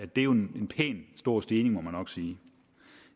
det er jo en pæn stor stigning må man nok sige